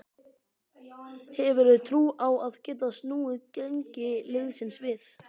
Hefurðu trú á að geta snúið gengi liðsins við?